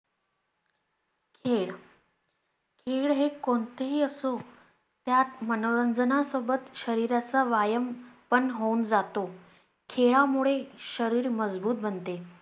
खेळ खेळ हे कोणते ही असो यात मनोरंजना सोबत शरीराचा व्यायाम पण होऊन जातो. खेळlमुळे शरीर मजबूत बनते.